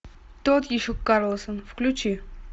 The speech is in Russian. тот еще карлсон включи